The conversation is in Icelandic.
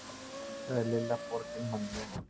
sagði Lilla borginmannlega.